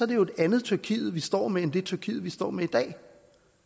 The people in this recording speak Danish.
det jo et andet tyrkiet vi står med end det tyrkiet vi står med i dag